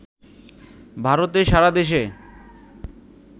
ভারতে সারা দেশে